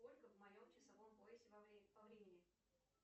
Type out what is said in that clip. сколько в моем часовом поясе по времени